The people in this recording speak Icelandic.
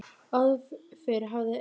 Áður fyrr hafði